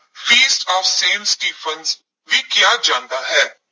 ਫੀਸਟ of Saint Stephen ਵੀ ਕਿਹਾ ਜਾਂਦਾ ਹੈ।